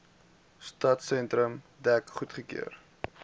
stadsentrum dek goedgekeur